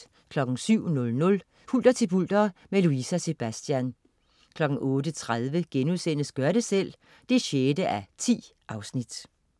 07.00 Hulter til bulter, med Louise og Sebastian 08.30 Gør det selv 6:10*